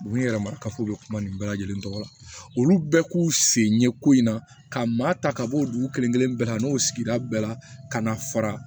U yɛrɛ ma kafo u bɛ kuma nin bɛɛ lajɛlen tɔgɔ la olu bɛɛ k'u sen ye ko in na ka maa ta ka bɔ o dugu kelen bɛɛ la n'o sigira bɛɛ la ka na fara